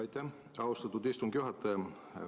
Aitäh, austatud istungi juhataja!